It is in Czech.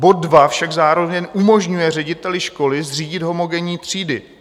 Bod 2 však zároveň umožňuje řediteli školy zřídit homogenní třídy.